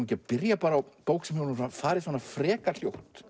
ekki að byrja á bók sem hefur farið frekar hljótt